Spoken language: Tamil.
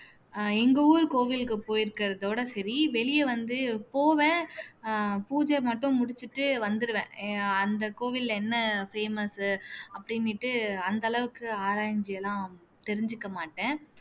அஹ் எங்க ஊர் கோவிலுக்கு போயிருக்கறதோட சரி வெளிய வந்து போவேன் அஹ் பூஜை மட்டும் முடிச்சுட்டு வந்துடுவேன் எ ஆஹ் அந்த கோவில்ல என்ன famous உ அப்படினுட்டு அந்த அளவுக்கு ஆராய்ஞ்சு எல்லாம் தெரிஞ்சுக்க மாட்டேன்